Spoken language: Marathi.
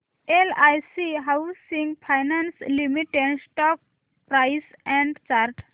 LIC housing finance limited stock price and chart